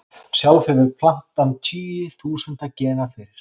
Sjálf hefur plantan tugi þúsunda gena fyrir.